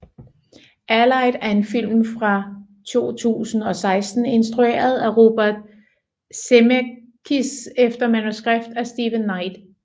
Allied er en film fra 2016 instrueret af Robert Zemeckis efter manuskript af Steven Knight